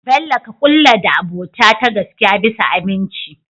bello ka kulla da abota ta gaskiya bisa aminci